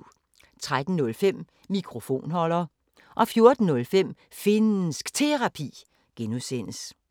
13:05: Mikrofonholder 14:05: Finnsk Terapi (G)